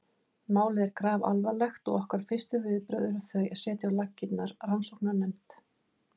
Málið er grafalvarlegt og okkar fyrstu viðbrögð eru þau að setja á laggirnar rannsóknarnefnd.